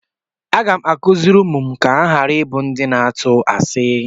Aga m akụziri ụmụ m ka ha ghara ịbụ ndị na-atụ asi.